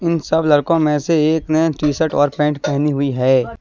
इन सब लड़कों में से एक ने टी शर्ट और पैंट पहनी हुई है।